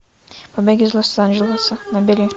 побег из лос анджелеса набери